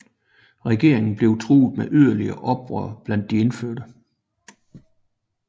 Regeringen blev truet med yderligere oprør blandt de indfødte